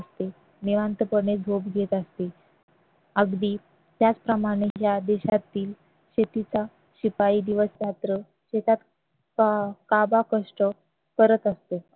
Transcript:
असते निवांतपणे झोप घेत असते अगदी त्याचप्रमाणे या देशातील शेतीचा शिपाई दिवस रात्र एकाच काबाडकष्ट करत असतो